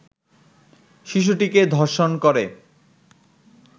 শিশুটিকে ধর্ষণ করে